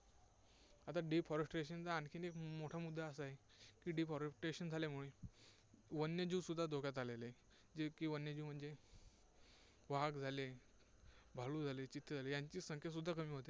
आता deforestation चा आणखी एक मोठा मुद्दा असा आहे की, deforestation झाल्यामुळे वन्यजीव सुद्धा धोक्यात आलेले आहेत. जे की वन्यजीव म्हणजे, वाघ झाले, भालू झाले, चित्ते झाले, यांची संख्या सुद्धा कमी झालेली होते.